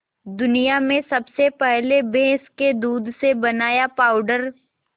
दुनिया में सबसे पहले भैंस के दूध से बनाया पावडर